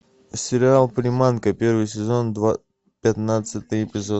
сериал приманка первый сезон пятнадцатый эпизод